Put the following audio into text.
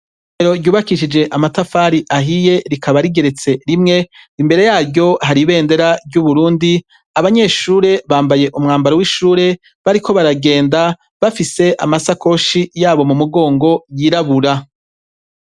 Irerero ryubakishije amatafari ahiye rikaba rigeretse rimwe imbere yaryo hari ibendera ry'uburundi abanyeshure bambaye umwambaro w'ishure bariko baragenda bafise amasakoshi yabo mu mugongo yirabura